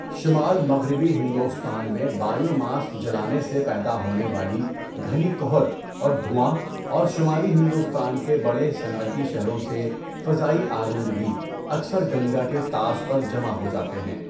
شمال مغربی ہندوستان میں بائیو ماس جلانے سے پیدا ہونے والی گھنی کہر اور دھواں اور شمالی ہندوستان کے بڑے صنعتی شہروں سے فضائی آلودگی اکثر گنگا کے طاس پر جمع ہو جاتے ہیں۔